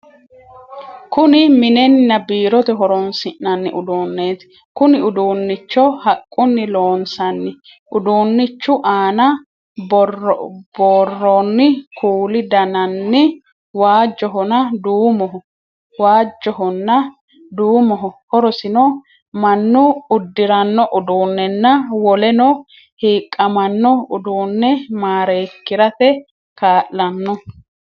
Kunni minnenna biirote horoonsi'nanni uduuneeti. Konni uduunicho haqunni loonsanni. Uduunchu aanna boroonni kuuli dananni waajohonna duumoho. Horosino mannu udirano uduunenna woleno hiiqamanno uduune mareekirate kaa'lano.